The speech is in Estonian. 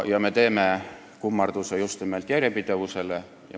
Me teeme kummarduse just nimelt järjepidevusele.